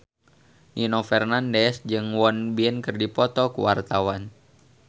Nino Fernandez jeung Won Bin keur dipoto ku wartawan